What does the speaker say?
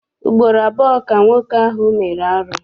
Ugboro abụọ ka nwoke ahụ mere arụ.